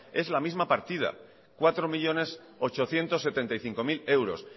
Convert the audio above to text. es la misma partida cuatro millónes ochocientos setenta y cinco mil euros